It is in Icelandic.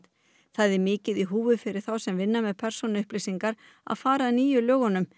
það er mikið í húfi fyrir þá sem vinna með persónuupplýsingar að fara að nýju lögunum